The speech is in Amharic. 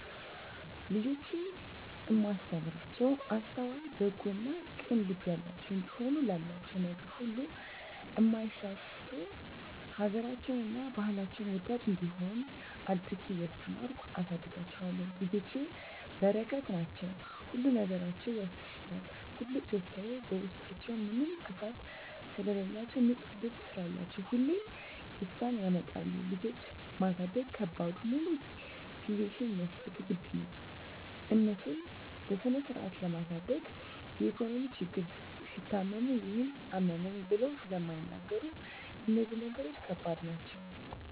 ልጆቼን እማስተምራቸዉ አስተዋይ፣ በጎ እና ቅን ልብ ያላቸዉ እንዲሆኑ፣ ላላቸዉ ነገር ሁሉ እማይሳስቱ፣ ሀገራቸዉን እና ባህላቸዉን ወዳድ እንዲሆነ አድርጌ እያስተማርኩ አሳድጋቸዋለሁ። ልጆች በረከት ናቸዉ። ሁሉ ነገራቸዉ ያስደስታል ትልቁ ደስታየ በዉስጣችዉ ምንም ክፋት ስለላቸዉ፣ ንፁ ልብ ስላላቸዉ ሁሌም ደስታን ያመጣሉ። ልጆች ማሳደግ ከባዱ ሙሉ ጊዜሽን መስጠት ግድ ነዉ፣ እነሱን በስነስርአት ለማሳደግ የኢኮኖሚ ችግር፣ ሲታመሙ ይሄን አመመኝ ብለዉ ስለማይናገሩ እነዚህ ነገሮች ከባድ ናቸዉ።